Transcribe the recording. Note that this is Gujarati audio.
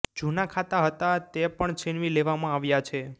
જુના ખાતા હતા તે પણ છીનવી લેવામાં આવ્યા છે